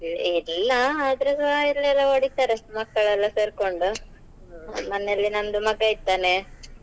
ಇಲ್ಲಾ ಆದ್ರೆಸ ಇಲ್ಲೆಲ್ಲಾ ಹೊಡೀತಾರೆ ಅಷ್ಟ್ ಮಕ್ಳೆಲ್ಲಾ ಸೇರ್ಕೊಂಡು ಮನೇಲಿ ನಮ್ದು ಮಗ ಇದ್ದಾನೆ.